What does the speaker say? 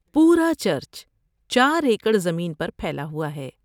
پورا چرچ چار ایکڑ زمین پر پھیلا ہوا ہے۔